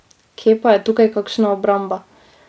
Kje pa je tukaj kakšna obramba?